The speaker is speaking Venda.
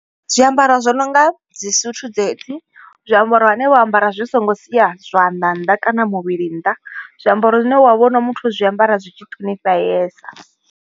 Zwiambaro zwo no nga dzi suthu dzedzi, zwiambaro vhane vho ambara zwi songo sia zwanḓa nnḓa kana muvhili nnḓa. Zwiambaro zwine wa vhona muthu o zwiambara zwi tshi ṱhonifheesa.